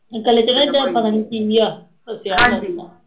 ਗਲੇ ਚ ਨਾ ਇਦਾ ਪਤਾ ਨੀ ਆ ਫਸਿਆ ਹੁੰਦਾ ਜੇਦਾ